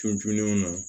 Tulenw na